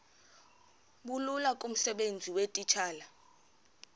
bulula kumsebenzi weetitshala